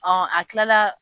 Ɔ a tilala